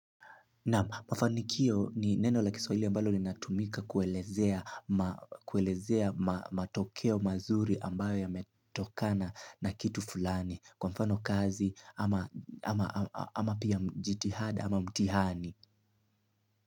Naam mafanikio ni neno la kiswahili ambalo linatumika kuelezea matokeo mazuri ambayo yametokana na kitu fulani kwa mfano kazi ama pia jitihada ama mtihani.